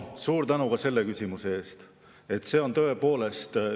Suur tänu ka selle küsimuse eest!